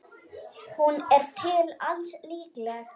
Hún er til alls líkleg.